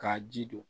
K'a ji don